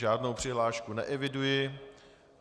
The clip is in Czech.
Žádnou přihlášku neeviduji.